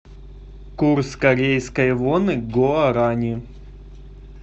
курс корейской воны к гуарани